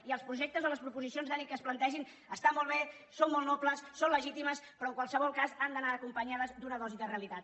i els projectes de les proposicions de llei que es plantegin estan molt bé són molt nobles són legítims però en qualsevol cas han d’anar acompanyats d’una dosi de realitat